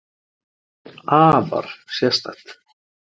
Afar sérstakt.